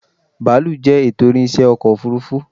Bàálù jẹ́ ètò ìrìnsẹ́ ọkọ̀ òfuurufú